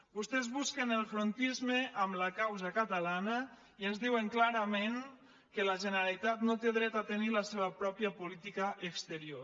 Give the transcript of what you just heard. vostès busquen el frontisme amb la causa catalana i ens diuen clarament que la generalitat no té dret a tenir la seva pròpia política exterior